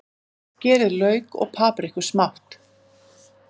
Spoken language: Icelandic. Skerið lauk og papriku smátt.